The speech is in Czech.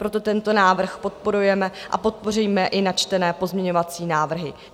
Proto tento návrh podporujeme a podpoříme i načtené pozměňovací návrhy.